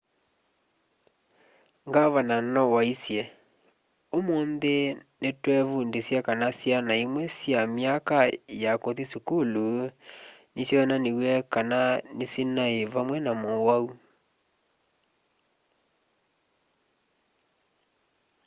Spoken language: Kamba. ngavana no waisye ũmũnthĩ nĩtwevundĩsya kana syana imwe sya myaka ya kũthi sukulu nĩsyonaniw'e kana nĩsinaĩ vamve na mũwau